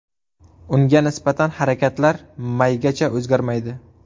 Unga nisbatan harakatlar maygacha o‘zgarmaydi.